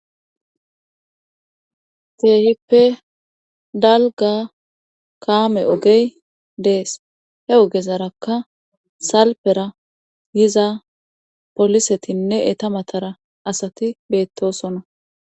Keehippe dalga kaame ogey dees he ogezarakka salpera yiza polisetinne eta matara asati beettosona